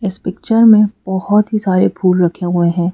इस पिक्चर में बहुत ही सारे फूल रखे हुए हैं।